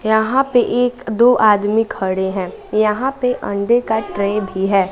यहां पे एक दो आदमी खड़े हैं यहां पे अंडों का ट्रे भी है।